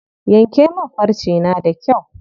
Yanke min farce na da kyau.